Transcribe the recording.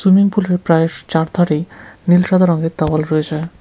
Swimming পুলের প্রায়স চারধারেই নীল সাদা রঙের দেওয়াল রয়েছে।